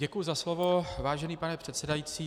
Děkuji za slovo, vážený pane předsedající.